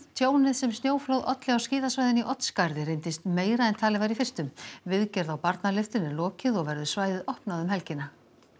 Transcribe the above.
tjónið sem snjóflóð olli á skíðasvæðinu í Oddsskarði reyndist meira en talið var í fyrstu viðgerð á barnalyftunni er lokið og verður svæðið opnað um helgina